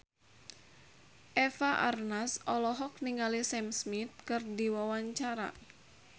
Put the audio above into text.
Eva Arnaz olohok ningali Sam Smith keur diwawancara